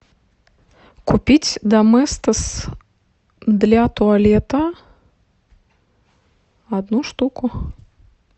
купить доместос для туалета одну штуку